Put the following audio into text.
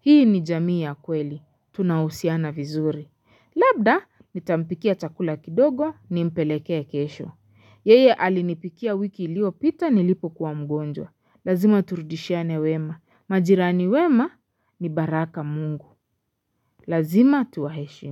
Hii ni jamii ya kweli. Tunahusiana vizuri. Labda, nitampikia chakula kidogo. Nimpeleke kesho yeye alinipikia wiki iliyopita nilipokuwa mgonjwa lazima turudishiane wema majirani wema ni baraka mungu lazima tuwaheshimu.